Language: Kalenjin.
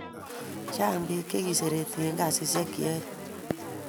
Chang pik che kiserete en kasishek che yoe